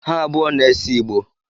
Ha abụọ na-ese Igbo